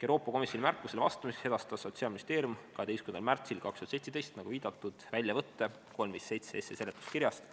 Euroopa Komisjoni märkusele vastamiseks edastas Sotsiaalministeerium 12. märtsil 2017, nagu viidatud, väljavõtte 357 SE seletuskirjast.